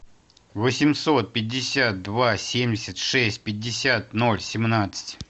восемьсот пятьдесят два семьдесят шесть пятьдесят ноль семнадцать